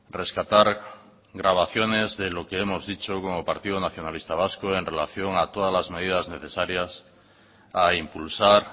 rescatar grabaciones de lo que hemos dicho como partido nacionalista vasco y en relación a todas las medidas necesarias a impulsar